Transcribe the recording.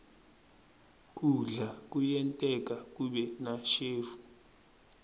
kudla kuyenteka kube nashevu